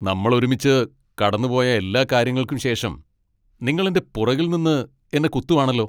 നമ്മൾ ഒരുമിച്ച് കടന്നുപോയ എല്ലാ കാര്യങ്ങൾക്കും ശേഷം നിങ്ങൾ എന്റെ പുറകിൽ നിന്ന് എന്നെ കുത്തുവാണല്ലോ.